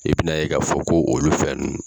I bi na ye ka fɔ ko olu fɛn nunnu